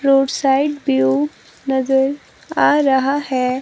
Road side view नजर आ रहा है।